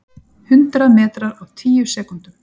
Hundrað metrar á tíu sekúndum!